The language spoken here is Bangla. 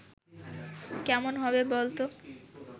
কেমন হবে বল তো